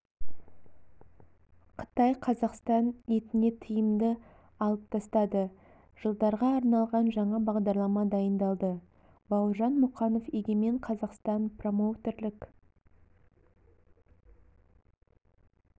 қытай қазақстан етіне тыйымды алып тастады жылдарға арналған жаңа бағдарлама дайындалды бауыржан мұқанов егемен қазақстан промоутерлік